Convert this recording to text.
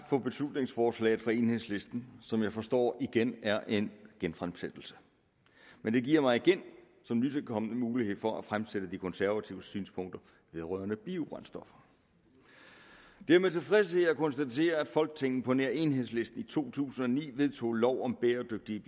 for beslutningsforslaget fra enhedslisten som jeg forstår igen er en genfremsættelse men det giver mig som nytilkommen mulighed for at fremsætte de konservatives synspunkter vedrørende biobrændstoffer det er med tilfredshed jeg konstaterer at folketinget på nær enhedslisten i to tusind og ni vedtog lov om bæredygtige